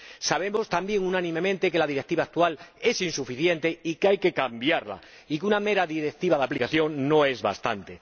Sabemos también unánimemente que la Directiva actual es insuficiente y que hay que cambiarla, y que una mera directiva de aplicación no es bastante.